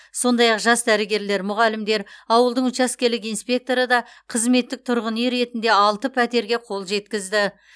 сондай ақ жас дәрігерлер мұғалімдер ауылдың учаскелік инспекторы да қызметтік тұрғын үй ретінде алты пәтерге қол жеткізді